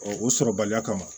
o sɔrɔbaliya kama